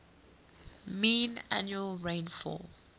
mean annual rainfall